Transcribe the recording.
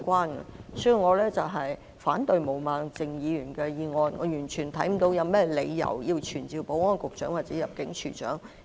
因此，我反對毛孟靜議員的議案，我完全看不到有任何理由要傳召保安局局長或入境事務處處長。